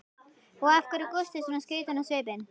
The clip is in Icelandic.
Og af hverju er Gústi svona skrýtinn á svipinn?